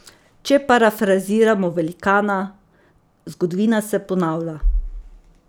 Če parafraziramo velikana: 'Zgodovina se ponavlja.